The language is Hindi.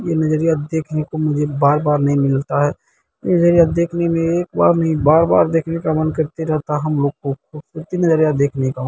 ये नजरिया देखने को मुझे बार-बार नहीं मिलता है ये नजरिया देखने में एक बार नहीं बार-बार देखने का मन करते रहता है हम लोग को ये नजरिया देखने का।